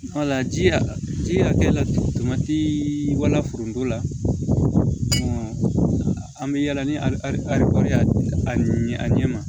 ji y'a ji hakɛ lama ti walafuna an bɛ yala ni ari ya a ɲɛ ma